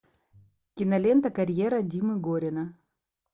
кинолента карьера димы горина